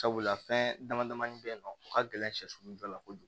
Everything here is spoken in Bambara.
Sabula fɛn dama damani bɛ yen nɔ o ka gɛlɛn sɛsun dɔ la kojugu